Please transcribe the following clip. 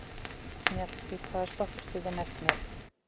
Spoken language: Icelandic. Mjallhvít, hvaða stoppistöð er næst mér?